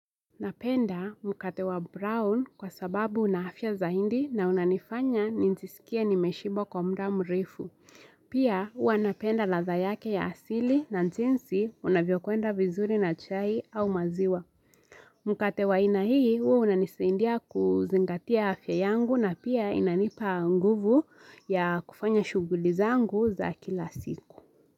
Napenda mkate wa brown kwa sababu una afya zaidi na unanifanya njiisikie nimeshiba kwa muda mrefu. Pia huwa napenda ladha yake ya asili na jinsi unavyo kuenda vizuri na chai au maziwa. Mkate wa ina hii unanisindia kuzingatia afya yangu na pia inanipa nguvu ya kufanya shuguli zangu za kila siku.